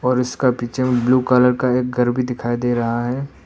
और उसका पीछे मे ब्लू कलर का एक घर भी दिखाई दे रहा है।